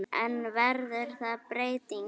En verður þar breyting á?